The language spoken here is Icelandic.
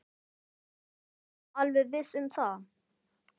Ertu nú alveg viss um það.